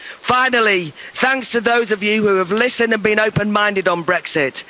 anthem. Finally, thanks to those of you who have listened and been open minded on